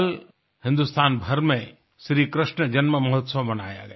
कल हिन्दुस्तान भर में श्री कृष्ण जन्ममहोत्सव मनाया गया